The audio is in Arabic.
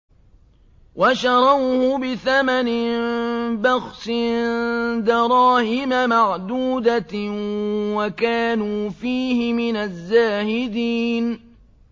وَشَرَوْهُ بِثَمَنٍ بَخْسٍ دَرَاهِمَ مَعْدُودَةٍ وَكَانُوا فِيهِ مِنَ الزَّاهِدِينَ